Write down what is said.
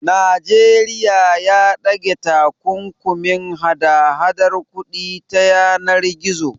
Babban bankin Najeriya ya ɗage takunkumin hada hadar kuɗi ta yanar gizo.